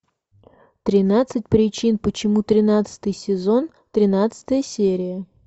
тринадцать причин почему тринадцатый сезон тринадцатая серия